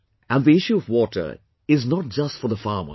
And the issue of water is not just for the farmers